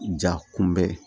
Ja kunbɛn